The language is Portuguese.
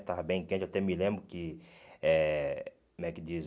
Estava bem quente, até me lembro que, eh como é que dizem?